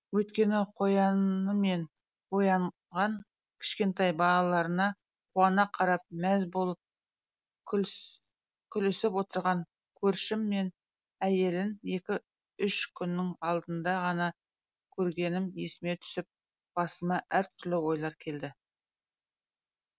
өйткені қоянымен оянаған кішкентай балаларына қуана қарап мәз болып күлісіп отырған көршім мен әйелін екі үш күннің алдында ғана көргенім есіме түсіп басыма әртүрлі ойлар келді